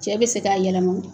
Cɛ bɛ se k'a yɛlɛma